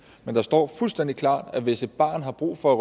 men der står fuldstændig klart at hvis et barn har brug for at